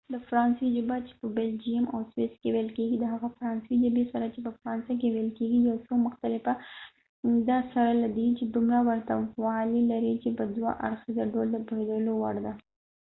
د فرانسوۍ ژبه چې په بلجیم او سویس کې ویل کیږي د هغه فرانسوۍ ژبې سره چې په فرانسه کې ویل کیږي یو څه مختلفه ده سره له دې چې دومره ورته والی لري چې په دوه اړخیزه ډول د پوهیدلو وړ ده